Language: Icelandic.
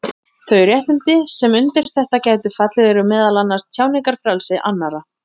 Þau réttindi sem undir þetta gætu fallið eru meðal annars tjáningarfrelsi annarra.